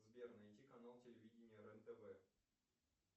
сбер найти канал телевидения рен тв